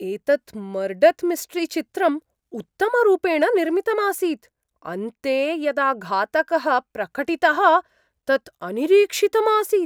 एतत् मर्डत् मिस्टरीचित्रं उत्तमरूपेण निर्मितम् आसीत्, अन्ते यदा घातकः प्रकटितः तत् अनिरीक्षितम् आसीत्।